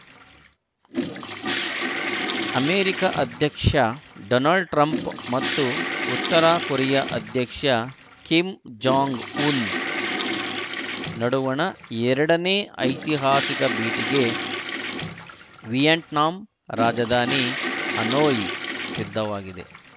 America ಅಧ್ಯಕ್ಷ Donald Trump ಮತ್ತು ಉತ್ತರ ಕೊರಿಯಾ ಅಧ್ಯಕ್ಷ ಕಿಮ್‌ ಜಾಂಗ್‌ ಉನ್‌ ನಡುವಣ ಎರಡನೇ ಐತಿಹಾಸಿಕ ಭೇಟಿಗೆ ವಿಯೆಟ್ನಾಂ ರಾಜಧಾನಿ ಹನೋಯ್‌ ಸಿದ್ಧವಾಗಿದೆ